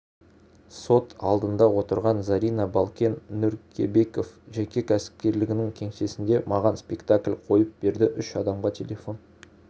сот алдында отырған зарина балкен нөкербеков жеке кәсіпкерлігінің кеңсесінде маған спектакль қойып берді үш адамға телефон